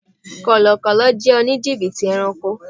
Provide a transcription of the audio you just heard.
Kọlọkọ́lọ́ jẹ́ òní jìbìtì ẹranko.